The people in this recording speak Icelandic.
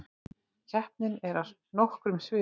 Keppnin er á nokkrum sviðum